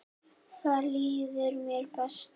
Þar líður mér best.